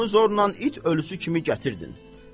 Onu zorla it ölüsü kimi gətirdin.